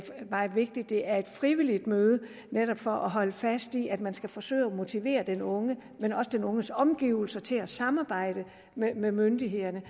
meget vigtigt at det er et frivilligt møde netop for at holde fast i at man skal forsøge at motivere den unge men også den unges omgivelser til at samarbejde med myndighederne